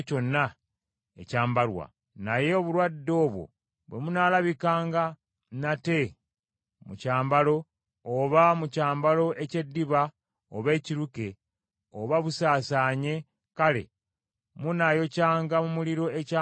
Naye obulwadde obwo bwe bunaalabikanga nate mu kyambalo, oba mu kyambalo eky’eddiba oba ekiruke, nga busaasaanye, kale munaayokyanga mu muliro ekyambalo ekyo omuli obulwadde.